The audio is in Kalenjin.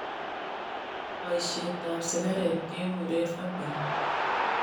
Boisiet ab sikareet kekureen vaping